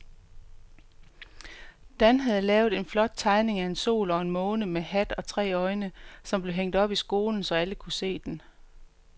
Dan havde lavet en flot tegning af en sol og en måne med hat og tre øjne, som blev hængt op i skolen, så alle kunne se den.